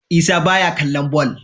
Isa baya kallon ball